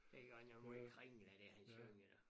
Det godt nok måj kringlet det han synger da